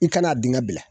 I kan'a dingɛ bila